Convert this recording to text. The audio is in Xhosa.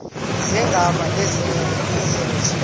zegama lesngesn authorit